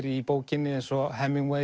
í bókinni eins og